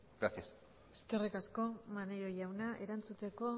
gracias eskerrik asko maneiro jauna erantzuteko